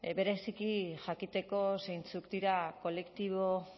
bereziki jakiteko zeintzuk diren kolektibo